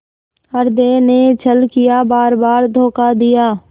हृदय ने छल किया बारबार धोखा दिया